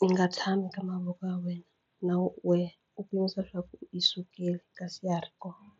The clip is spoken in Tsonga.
yi nga tshami ka mavoko ya wena na wehe u leswaku yi sukile kasi ya ha ri kona.